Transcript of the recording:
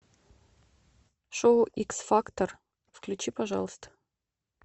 шоу икс фактор включи пожалуйста